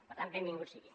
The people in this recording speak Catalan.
per tant benvinguda sigui